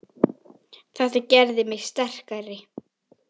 Þetta gerði mig sterkari.